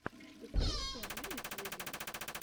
штукенция на ютьюбе